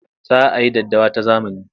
Za a yi daddawa ta zamani.